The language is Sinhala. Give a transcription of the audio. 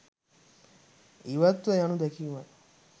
ඉවත්ව යනු දැකීමයි.